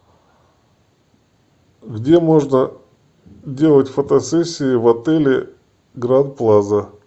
где можно делать фотосессии в отеле гранд плаза